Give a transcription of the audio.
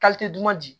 duman di